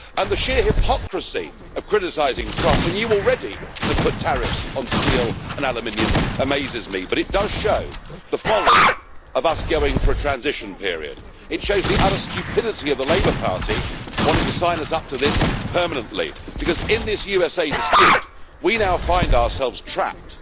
The sheer hypocrisy of criticising Trump when you already have put tariffs on steel and aluminium amazes me, but it does show the folly of us going for a transition period. It shows the utter stupidity of the Labour Party, wanting to sign us up to this permanently, because in this USA dispute we now find ourselves trapped,